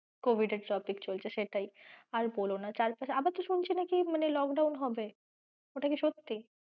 Covid এর topic চলছে সেটাই আর বলোনা চার পাশে আবার তো শুনছি নাকি মানে lockdown হবে ওটা কি সত্যি?